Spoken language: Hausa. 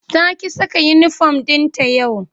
Ta ƙi saka uniform ɗinta yau.